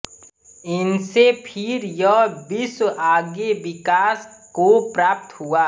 इनसे फिर यह विश्व आगे विकास को प्राप्त हुआ